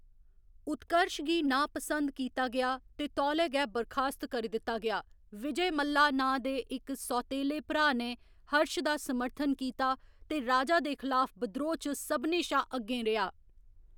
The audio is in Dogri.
उत्कर्श गी नापसंद कीता गेआ ते तौले गै बर्खास्त करी दित्ता गेआ, विजयमल्ला नांऽ दे इक सौतेले भ्राऽ ने हर्श दा समर्थन कीता ते राजा दे खलाफ बिद्रोह् च सभनें शा अग्गें रेआ।